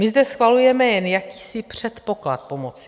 My zde schvalujeme jen jakýsi předpoklad pomoci.